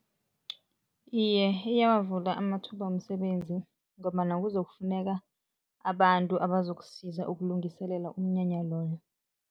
Iye, iyawavula amathuba womsebenzi ngombana kuzokufuneka abantu abazokusiza ukulungiselela umnyanya loyo.